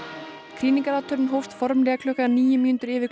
krýningarathöfnin hófst formlega klukkan níu mínútur yfir